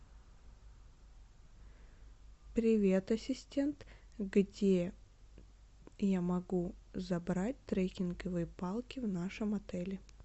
привет ассистент где я могу забрать треккинговые палки в нашем отеле